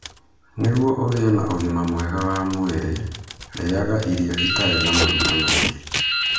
Nĩguo ũgĩe na ũgima mwega wa mwĩrĩ, rĩaga irio itarĩ na maguta maingĩ.